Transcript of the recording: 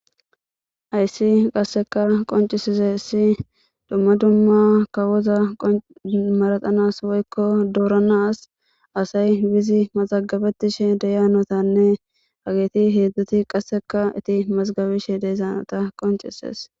Hyssi qasseka qoncisize issi dumma dumma kawoza maraxanas woykko dooranas asay bizi mazagabetishe deyaanotanne ageeti heedzdzoti qasseka iti mazgabishe deezaanota qoncises.